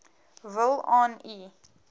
wil aan u